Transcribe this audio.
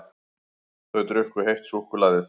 Þau drukku heitt súkkulaðið.